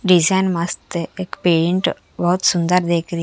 design मस्त हे एक पेंट बोत सुन्दर दिख री --